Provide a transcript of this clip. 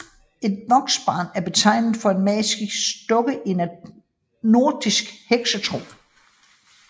Et voksbarn er betegnelsen for en magisk dukke i nordisk heksetro